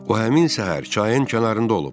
O həmin səhər çayın kənarında olub.